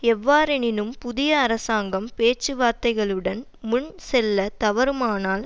எவ்வாறெனினும் புதிய அரசாங்கம் பேச்சுவார்த்தைகளுடன் முன்செல்லத் தவறுமானால்